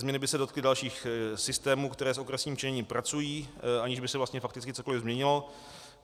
Změny by se dotkly dalších systémů, které s okresním členěním pracují, aniž by se vlastně fakticky cokoli změnilo.